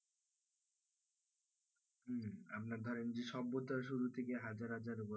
আবার ধরেন যে সভ্যতার শুরু থেকে হাজার হাজার বছর